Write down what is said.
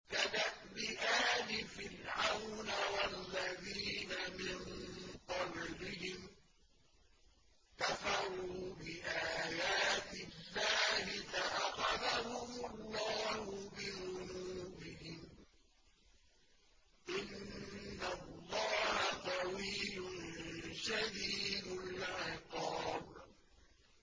كَدَأْبِ آلِ فِرْعَوْنَ ۙ وَالَّذِينَ مِن قَبْلِهِمْ ۚ كَفَرُوا بِآيَاتِ اللَّهِ فَأَخَذَهُمُ اللَّهُ بِذُنُوبِهِمْ ۗ إِنَّ اللَّهَ قَوِيٌّ شَدِيدُ الْعِقَابِ